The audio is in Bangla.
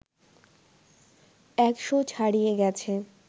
১০০ ছাড়িয়ে গেছে